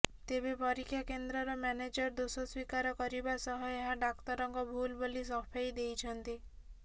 ତେବେ ପରୀକ୍ଷାକେନ୍ଦ୍ରର ମ୍ୟାନେଜର ଦୋଷ ସ୍ୱୀକାର କରିବା ସହ ଏହା ଡାକ୍ତରଙ୍କ ଭୁଲ ବୋଲି ସଫେଇ ଦେଇଛନ୍ତି